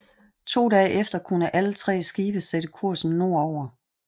To dage efter kunne alle tre skibe sætte kursen nord over